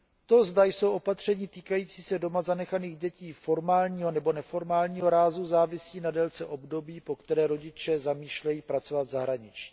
To, zda jsou opatření týkající se doma zanechaných dětí formálního nebo neformálního rázu, závisí na délce období, po které rodiče zamýšlejí pracovat v zahraničí.